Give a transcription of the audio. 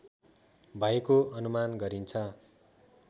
भएको अनुमान गरिन्छ